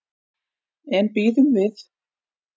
En bíðum við.